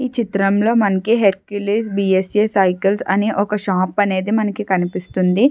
ఈ చిత్రం లో మనకి Hercules B S A cycles అనే ఒక షాప్ అనేది మనకి కనిపిస్తుంది.